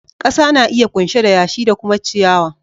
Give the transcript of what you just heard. Kasa na iya kunshe da yashi da kuma ciyawa.